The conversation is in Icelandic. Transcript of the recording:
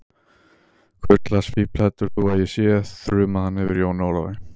Hvurslags fífl heldur þú að ég sé, þrumaði hann yfir Jóni Ólafi.